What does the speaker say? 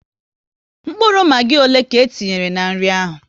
Mkpụrụ Magi ọle ka e tinyere n'nri ahụ?